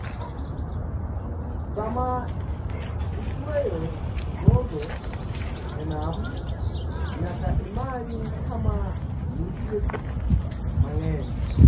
Sama itueyo gogo e nam, nyaka imany kama nitie pi mang'eny.